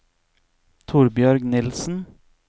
Torbjørg Nielsen